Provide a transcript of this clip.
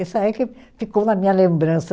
Isso aí que ficou na minha lembrança.